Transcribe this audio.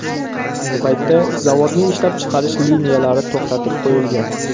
Ayni paytda zavodning ishlab chiqarish liniyalari to‘xtatib qo‘yilgan.